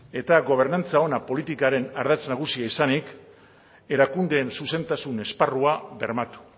eta gobernantza ona politikaren ardatz nagusia izanik erakundeen zuzentasun esparrua bermatu